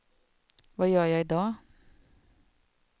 vad gör jag idag